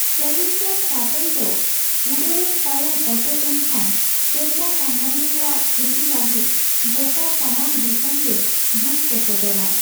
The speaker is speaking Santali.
ᱪᱮᱞᱮᱧᱡᱟᱨ ᱥᱟᱴᱚᱞ ᱫᱚ ᱩᱰᱟᱹᱣᱮᱱ ᱛᱟᱭᱚᱢ ᱚᱴᱮᱡ ᱮᱱ ᱠᱷᱟᱱ ᱥᱮᱨᱢᱟ ᱥᱟᱸᱜᱷᱟᱹᱨᱤᱭᱟᱹ ᱠᱚᱣᱟᱜ ᱠᱷᱩᱛᱤ ᱞᱟᱹᱜᱤᱫ ᱜᱚᱴᱟ ᱥᱟᱱᱟᱢ ᱫᱤᱥᱚᱢ ᱜᱮ ᱫᱩᱠ ᱠᱚ ᱥᱚᱫᱚᱨᱟ ᱾